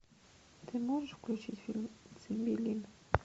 ты можешь включить фильм цимбелин